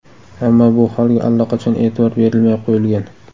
Ammo bu holga allaqachon e’tibor berilmay qo‘yilgan.